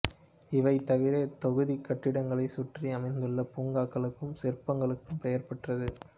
இவை தவிர இத் தொகுதி கட்டிடங்களைச் சுற்றி அமைந்துள்ள பூங்காக்களுக்கும் சிற்பங்களுக்கும் பெயர்பெற்றது